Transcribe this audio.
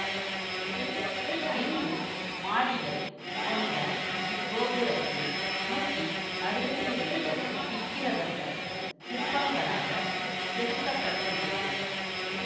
ஐந்து மாடிகள் கொண்ட இக்கோபுரத்தில் நூத்தி அறுவத்தி இரண்டு விக்கிரகங்கள் சிற்பங்களாகச் செதுக்க பட்டுள்ளது